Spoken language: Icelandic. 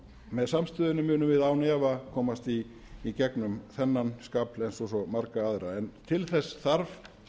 með samstöðunni munum við án efa komast í gegnum þennan skafl eins og svo marga aðra en til þess þarf